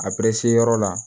A yɔrɔ la